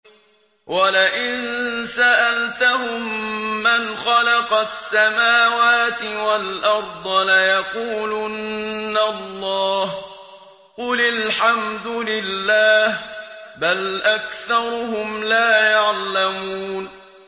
وَلَئِن سَأَلْتَهُم مَّنْ خَلَقَ السَّمَاوَاتِ وَالْأَرْضَ لَيَقُولُنَّ اللَّهُ ۚ قُلِ الْحَمْدُ لِلَّهِ ۚ بَلْ أَكْثَرُهُمْ لَا يَعْلَمُونَ